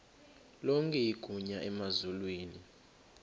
lonke igunya emazulwini